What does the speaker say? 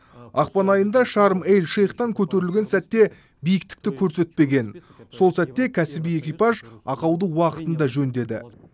ақпан айында шарм эль шейхтан көтерілген сәтте биіктікті көрсетпеген сол сәтте кәсіби экипаж ақауды уақытында жөндеді